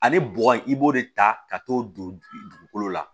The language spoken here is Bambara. Ani bɔgɔ i b'o de ta ka t'o don dugukolo la